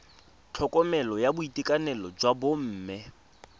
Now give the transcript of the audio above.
tlhokomelo ya boitekanelo jwa bomme